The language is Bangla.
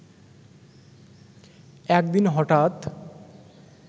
একদিন হঠাৎ